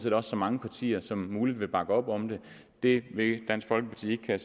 at så mange partier som muligt vil bakke op om det det vil dansk folkeparti ikke kan